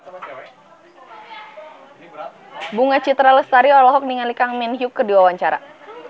Bunga Citra Lestari olohok ningali Kang Min Hyuk keur diwawancara